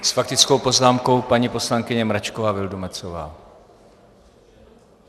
S faktickou poznámkou paní poslankyně Mračková Vildumetzová.